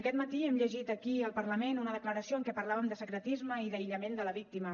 aquest matí hem llegit aquí al parlament una declaració en què parlàvem de secretisme i d’aïllament de la víctima